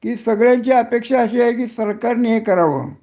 कि सगळ्यांची अपेक्षा अशी आहे कि सरकारनी हे कराव